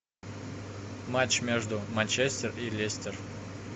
матч между манчестер и лестер